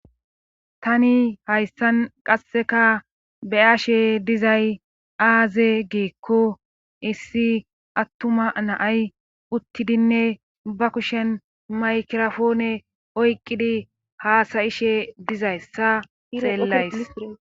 tani hayssan qasseka beyashe dizay aaze geekko issi attuma naay uttidinne ba kushen maykirafoone oyqqidi haasayishe dizayssa xeellays